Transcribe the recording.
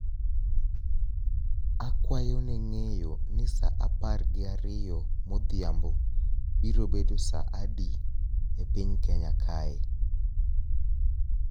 Akwayo neng'eyo ni sa apar gi ariyo modhiambo biro bedo saa adi epiny kenya kae